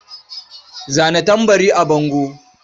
Zana tambarin a bango.